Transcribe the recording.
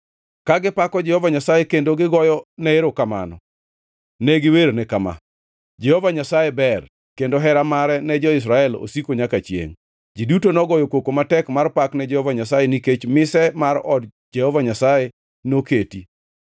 Ka gipako Jehova Nyasaye kendo gigoyone erokamano ne giwerne kama: “Jehova Nyasaye ber; kendo hera mare ne jo-Israel osiko nyaka chiengʼ.” To ji duto nogoyo koko matek mar Pak ne Jehova Nyasaye, nikech mise mar od Jehova Nyasaye noketi.